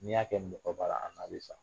N'i y'a kɛ mɔgɔ ba la, a n'a bi sa.